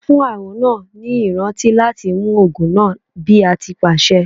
A fún àrùn náà ni ìrántí láti mu oògùn náà bí a ti pàṣẹ.